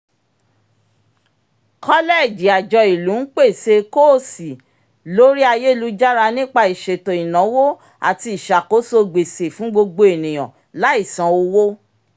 kọ́lẹẹ̀jì àjọ ìlú ń pèsè kóòsì lórí ayélujára nípa ìṣètò ináwó àti ìsàkóso gbèsè fún gbogbo ènìyàn láì san owó